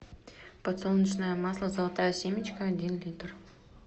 подсолнечное масло золотая семечка один литр